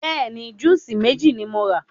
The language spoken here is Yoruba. Bẹ́ẹ̀ni, júùsí méjì ni mo rà.